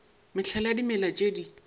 mehlala ya dimela tše di